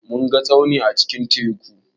Mun ga tsauni a cikin teku.